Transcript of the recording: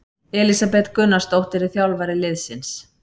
Elísabet Gunnarsdóttir er þjálfari liðsins.